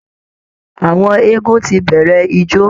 Àwọn eégún ti bẹ̀rẹ̀ ijó